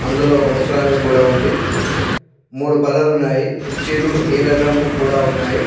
అందులో ఒక ముసలామె కూడా ఉంది. మూడు బల్లలు ఉన్నాయి. కుర్చీలు నీళ్ళ డ్రమ్ము కూడా ఉన్నాయి.